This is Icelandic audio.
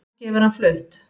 Kannski hefur hann flutt